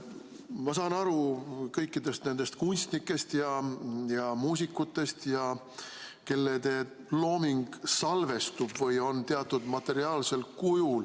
Ma saan aru kõikidest nendest kunstnikest ja muusikutest, kelle looming salvestub või on teatud materiaalsel kujul.